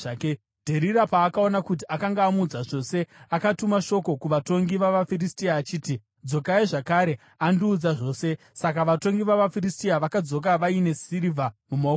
Dherira paakaona kuti akanga amuudza zvose, akatuma shoko kuvatongi vavaFiristia achiti, “Dzokai, zvakare; andiudza zvose.” Saka vatongi vavaFiristia vakadzoka vaine sirivha mumaoko avo.